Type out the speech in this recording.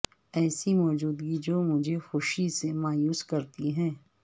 ایسی موجودگی جو مجھے خوشی سے مایوس کرتی ہے